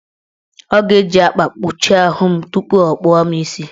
Ọ ga-eji akwa kpuchi ahụ m tupu ọ kpụwa mụ isi.